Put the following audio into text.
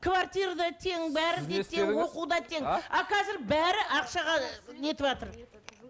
квартира да тең а қазір бәрі ақшаға не етіватыр